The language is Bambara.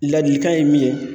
Ladilikan ye min ye